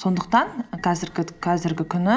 сондықтан қазіргі күні